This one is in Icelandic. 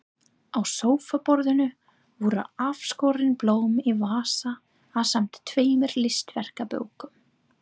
Á sófaborðinu voru afskorin blóm í vasa ásamt tveimur listaverkabókum.